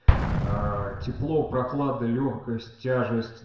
аа тепло прохлада лёгкость тяжесть